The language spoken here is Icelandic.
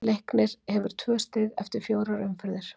Leiknir hefur tvö stig eftir fjórar umferðir.